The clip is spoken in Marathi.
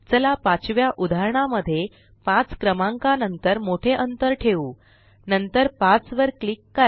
चला पाचव्या उदाहरणा मध्ये 5क्रमांका नंतर मोठे अंतर ठेवू नंतर 5 वर क्लिक करा